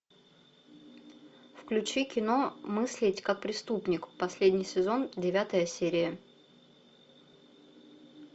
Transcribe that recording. включи кино мыслить как преступник последний сезон девятая серия